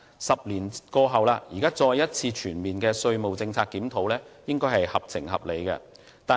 十年過後，現在再一次作全面的稅務政策檢討，應該是合情合理的。